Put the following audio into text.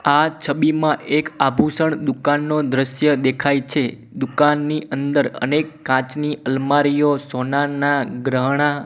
આ છબીમાં એક આભૂષણ દુકાનનો દ્રશ્ય દેખાય છે દુકાનની અંદર અનેક કાચની અલમારીઓ સોનાના ગ્રહના--